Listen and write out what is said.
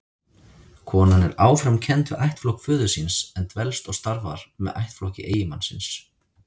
Konan er áfram kennd við ættflokk föður síns, en dvelst og starfar með ættflokki eiginmannsins.